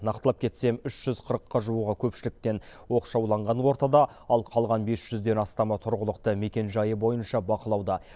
нақтылап кетсем үш жүз қырыққа жуығы көпшіліктен оқшауланған ортада ал қалған бес жүзден астамы тұрғылықты мекенжайы бойынша бақылауда